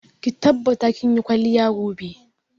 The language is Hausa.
Ki tabbata kin yi kwalliya gobe!